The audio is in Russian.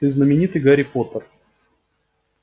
ты знаменитый гарри поттер